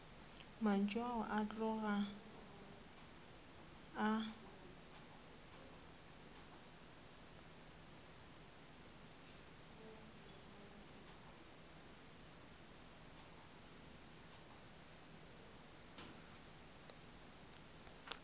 mantšu ao a tloga a